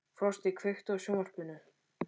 Frosti, kveiktu á sjónvarpinu.